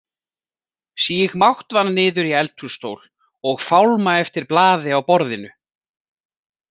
Síg máttvana niður í eldhússtól og fálma eftir blaði á borðinu.